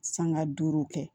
Sanga duuru kɛ